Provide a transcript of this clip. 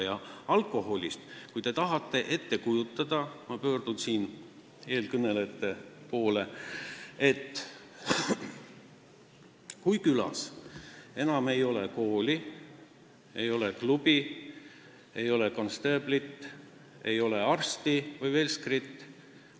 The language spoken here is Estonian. Mis puutub alkoholi, siis kujutage ette – ma pöördun siin eelkõnelejate poole –, et külas ei ole enam kooli, ei ole klubi, ei ole konstaablit, ei ole arsti või velskrit!